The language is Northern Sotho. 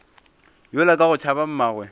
yola ka go tšhaba mmagwe